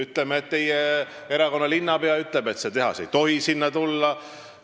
Teie erakonda kuuluv linnapea ütleb, et seda tehast ei tohi sinna tulla.